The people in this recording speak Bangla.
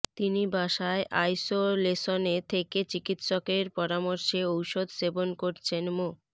তিনি বাসায় আইসোলেশনে থেকে চিকিৎসকের পরামর্শে ওষুধ সেবন করছেন মো